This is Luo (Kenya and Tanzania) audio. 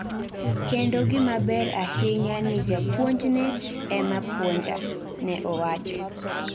"Kendo gimaber ahinya ni japuonjne ema puonja," ne owacho